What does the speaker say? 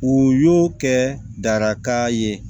U y'o kɛ daraka ye